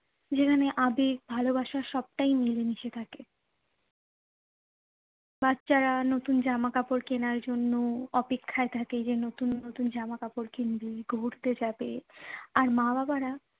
যেখানে আবেগ ভালোবাসা সবটাই মিলে মিশে থাকে। বাচ্চারা নতুন জামা কাপড় কেনার জন্য অপেক্ষায় থাকে যে নতুন নতুন জামা কাপড় কিনবে, ঘুরতে যাবে আর মা-বাবারা